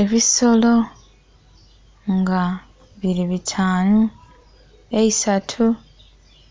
Ebisolo nga bili bitaanu, eisatu